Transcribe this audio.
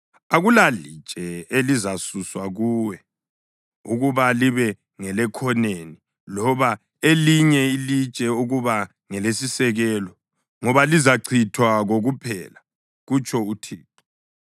Akulalitshe elizasuswa kuwe ukuba libe ngelekhoneni, loba elinye ilitshe ukuba ngelesisekelo ngoba lizachithwa kokuphela,” kutsho uThixo.